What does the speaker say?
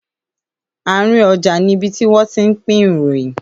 Àárín ọjà ni ibi tí wọ́n ti ń pín ìròyìn